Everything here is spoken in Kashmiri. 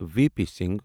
V P Singh